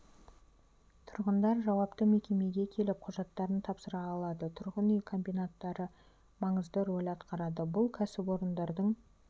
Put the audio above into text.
тұрғындар жауапты мекемеге келіп құжаттарын тапсыра алады тұрғын үй комбинаттары маңызды роль атқарады бұл кәсіпорындардың